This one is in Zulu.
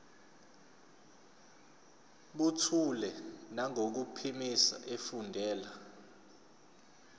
buthule nangokuphimisa efundela